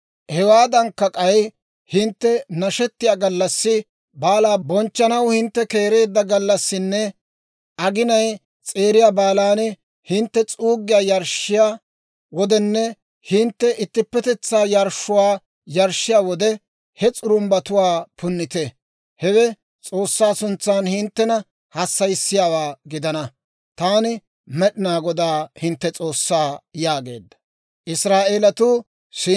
Hewaadankka, k'ay hintte nashettiyaa gallassi, baalaa bonchchanaw hintte keereedda gallassinne agenay s'eeriya baalan, hintte s'uuggiyaa yarshshuwaa yarshshiyaa wodenne hintte ittippetetsaa yarshshuwaa yarshshiyaa wode he s'urumbbatuwaa punnite; hewe S'oossaa sintsan hinttena hassayissiyaawaa gidana. Taani Med'inaa Godaa, hintte S'oossaa» yaageedda.